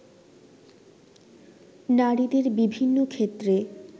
নারীদের বিভিন্ন ক্ষেত্রে